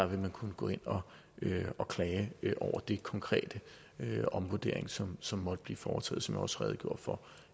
vil kunne gå ind og klage over den konkrete omvurdering som som måtte blive foretaget som jeg også redegjorde for